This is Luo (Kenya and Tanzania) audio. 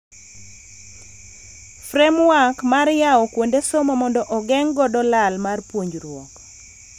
Framework mar yawo kuonde somo mondo ogeng' godo lal mar puonjruok.